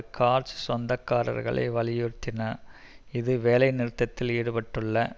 கார்ச் சொந்தக்காரர்களை வலியுறுத்தின இது வேலை நிறுத்தத்தில் ஈடுபட்டுள்ள